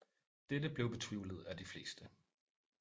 Dette blev betvivlet af de fleste